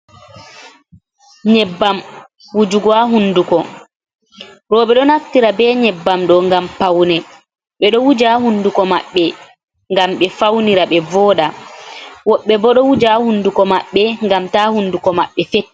Nyebbam wujuga ha hunduko, roɓe ɗo naftira be nyebbam ɗo gam paune, ɓedo wuja hunduko maɓɓe gam ɓe faunira ɓe voda, woɓɓe bo ɗo wuja ha hunduko maɓɓe gam ta hunduko mabɓe fett.